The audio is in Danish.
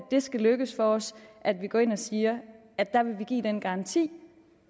det skal lykkes for os at vi går ind og siger at vi vil give den garanti